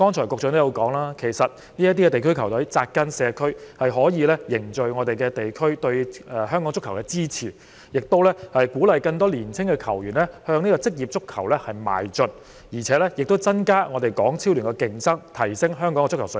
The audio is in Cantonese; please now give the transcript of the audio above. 局長剛才說區隊扎根社區，可以凝聚地區對香港足球的支持，亦鼓勵更多青年球員向職業足球邁進，增加港超聯的競爭，提升香港的足球水平。